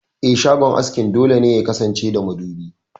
Eh, shagon askin dole ne yakasance da madubi.